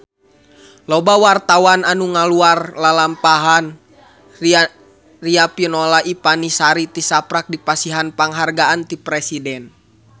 Loba wartawan anu ngaguar lalampahan Riafinola Ifani Sari tisaprak dipasihan panghargaan ti Presiden